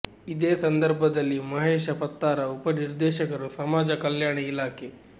ಇದೇ ಸಂದರ್ಭದಲ್ಲಿ ಮಹೇಶ ಪತ್ತಾರ ಉಪ ನಿರ್ದೇಶಕರು ಸಮಾಜ ಕಲ್ಯಾಣ ಇಲಾಖೆ